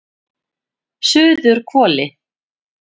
Suðurhvoli